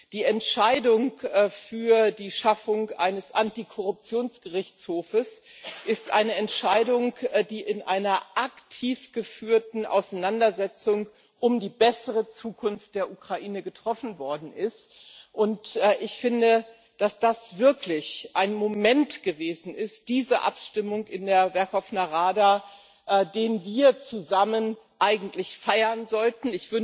Die Entscheidung für die Schaffung eines Antikorruptions Gerichtshofs ist eine Entscheidung, die in einer aktiv geführten Auseinandersetzung um eine bessere Zukunft der Ukraine getroffen worden ist. Und ich finde, dass diese Abstimmung in der Werchowna Rada wirklich ein Moment gewesen ist, den wir zusammen eigentlich feiern sollten.